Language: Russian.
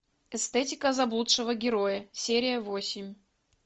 эстетика заблудшего героя серия восемь